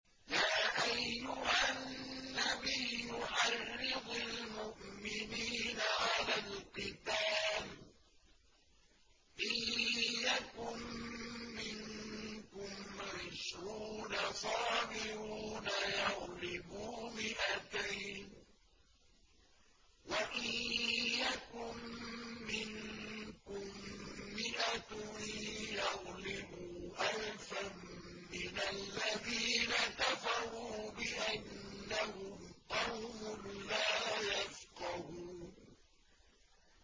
يَا أَيُّهَا النَّبِيُّ حَرِّضِ الْمُؤْمِنِينَ عَلَى الْقِتَالِ ۚ إِن يَكُن مِّنكُمْ عِشْرُونَ صَابِرُونَ يَغْلِبُوا مِائَتَيْنِ ۚ وَإِن يَكُن مِّنكُم مِّائَةٌ يَغْلِبُوا أَلْفًا مِّنَ الَّذِينَ كَفَرُوا بِأَنَّهُمْ قَوْمٌ لَّا يَفْقَهُونَ